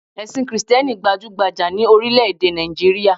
Èsìn krìsténi gbajúgbajà ni orílé èdè Nàìjíríà